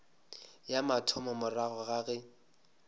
ya mathomo morago ga ge